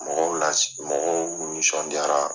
Mɔgɔw la mɔgɔw nisɔndiyara.